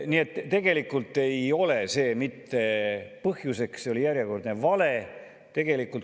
Nii et tegelikult ei ole see mitte põhjus, see oli järjekordne vale.